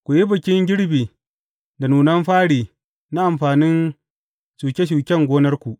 Ku yi Bikin Girbi da nunan fari na amfanin shuke shuken gonarku.